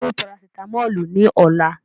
Take the paracetamol tomorrow